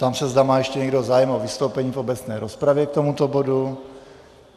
Ptám se, zda má ještě někdo zájem o vystoupení v obecné rozpravě k tomuto bodu.